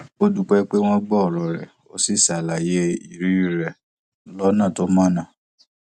ó dúpẹ pé wón gbọ òrò rẹ ó sì ṣàlàyé ìrírí rẹ lónà tó mọnà